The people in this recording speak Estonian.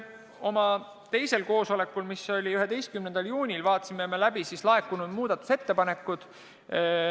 Oma teisel koosolekul, mis oli 11. juunil, vaatasime läbi laekunud muudatusettepanekud.